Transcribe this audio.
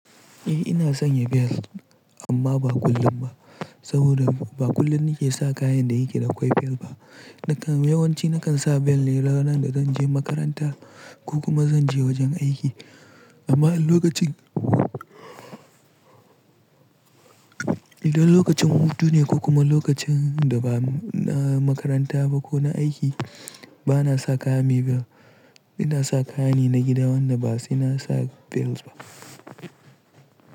Eh ina sanya bel amma ba kullum ba saboda ba kullum nake sa kayan da yake da'a kwai bel ba. Nakan yawanci nakan sa bel ne ranar da zan je makaranta ko kuma zan je wajen aiki amma idan lokacin, idan lokacin hutu ne ko kuma lokacin da ba na makaranta ba ko na aiki bana sa kaya mai bel. Ina sa kayani na gida wanda ba sai na sa bel ba.